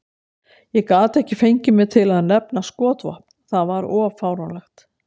Ég gat ekki fengið mig til að nefna skotvopn, það var of fáránlegt.